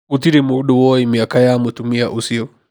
Gũtirĩ mũndũ woĩ mĩaka ya mũtumia ũcio.